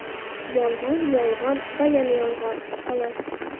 Yolg‘on, yolg‘on va yana yolg‘on, xolos.